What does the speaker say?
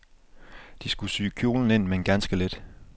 Du skulle sy kjolen ind, men ganske lidt.